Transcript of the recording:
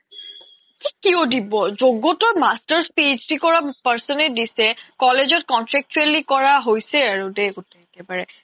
কিয় দিব য্গ্তৰ masters PhD কৰা person য়ে দিছে college ত contractually কৰা হৈছে আৰু দেই গুতেই একেবাৰে